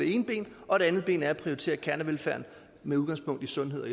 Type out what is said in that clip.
og det andet ben er at prioritere kernevelfærden med udgangspunkt i sundhed